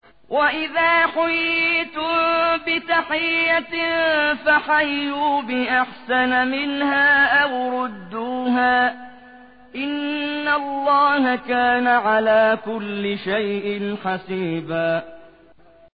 وَإِذَا حُيِّيتُم بِتَحِيَّةٍ فَحَيُّوا بِأَحْسَنَ مِنْهَا أَوْ رُدُّوهَا ۗ إِنَّ اللَّهَ كَانَ عَلَىٰ كُلِّ شَيْءٍ حَسِيبًا